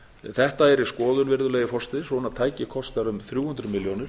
þetta er í skoðun virðulegi forseti svona tæki kostar um þrjú hundruð milljónir